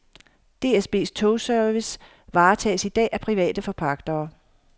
DSBs togservice varetages i dag af private forpagtere.